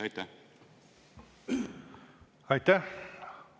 Aitäh!